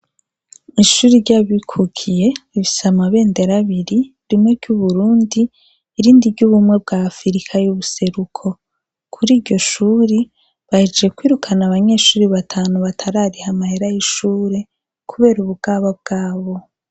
Ishure ry' Abikukiye, rifise amabendera abiri, rimwe ry' Uburundi, irindi ry' ubumwe bwa Afirika y' ubuseruko. Kuri iryo shuri, bahejeje kwirukana abanyeshuri batanu batarariha amahera y' ishure, kubera ubugaba bwabo.